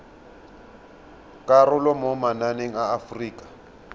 karolo mo mananeng a aforika